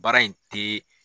Baara in teee.